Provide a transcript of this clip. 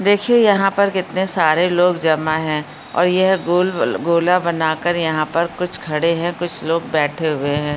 देखिये यहाँ पर कितने सारे लोग जमा हैं ओर यह गोल-वल-गोला बना कर यहाँ पर कुछ खड़े हैं कुछ लोग बैठे हुए हैं।